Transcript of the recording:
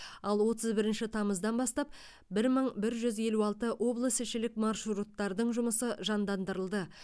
ал отыз бірінші тамыздан бастап бір мың бір жүз елу алты облысішілік маршруттардың жұмысы жандандырылды